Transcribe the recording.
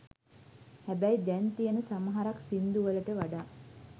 හැබැයි දැන් තියන සමහරක් සිංදු වලට වඩා